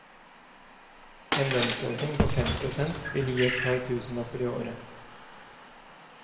En lønnsøkning på fem prosent vil gi et par tusenlapper i året.